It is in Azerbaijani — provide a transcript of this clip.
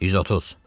130.